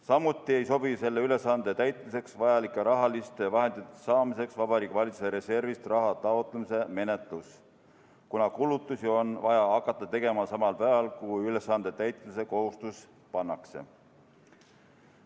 Samuti ei sobi selle ülesande täitmiseks vajalike rahaliste vahendite saamiseks Vabariigi Valitsuse reservist raha taotlemise menetlus, kuna kulutusi on vaja hakata tegema samal päeval, kui ülesande täitmise kohustus pannakse.